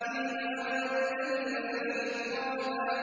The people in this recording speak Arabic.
فِيمَ أَنتَ مِن ذِكْرَاهَا